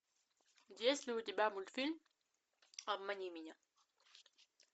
есть ли у тебя мультфильм обмани меня